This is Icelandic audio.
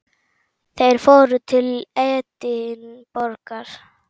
Þeir fóru til Edinborgar.